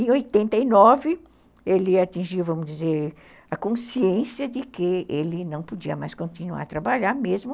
Em oitenta e nove, ele atingiu, vamos dizer, a consciência de que ele não podia mais continuar a trabalhar, mesmo